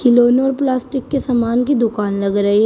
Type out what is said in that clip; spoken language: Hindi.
खिलौने और प्लास्टिक के सामान की दुकान लग रही है।